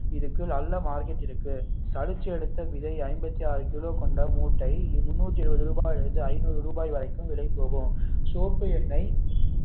இதற்கு நல்ல மார்க்கெட் இருக்கு சலிச்சு எடுத்த விதை ஐம்பத்து ஆறு கிலோ கொண்ட மூட்டை முன்னூத்தி இருபது ரூபாயிலிருந்து ஐநூறு ரூபாய் வரை விலை போகும் சோப்பு எண்ணெய்